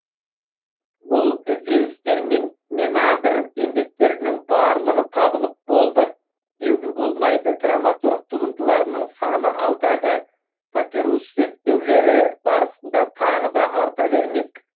бұл ізденістермен менандр еңбектерінің барлығы табылып болды деуге болмайды драматург туындыларының саны алдағы папирус зерттеулері барысында тағы да арта бермек